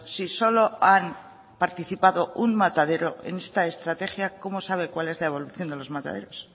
si solo han participado un matadero en esta estrategia cómo sabe cuál es la evolución de los mataderos